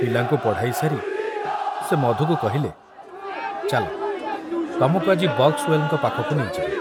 ପିଲାଙ୍କୁ ପଢ଼ାଇ ସାରି ସେ ମଧୁକୁ କହିଲେ, ଚାଲ, ତମକୁ ଆଜି ବକ୍ସୱେଲଙ୍କ ପାଖକୁ ନେଇଯିବି।